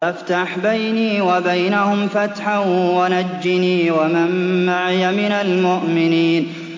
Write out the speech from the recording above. فَافْتَحْ بَيْنِي وَبَيْنَهُمْ فَتْحًا وَنَجِّنِي وَمَن مَّعِيَ مِنَ الْمُؤْمِنِينَ